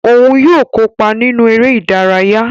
Òún yóò kópa nínú eré ìdárayá